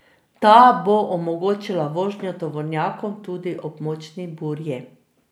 Ta bo omogočila vožnjo tovornjakom tudi ob močni burji.